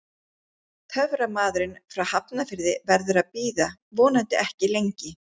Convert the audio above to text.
Töframaðurinn frá Hafnarfirði verður að bíða, vonandi ekki lengi.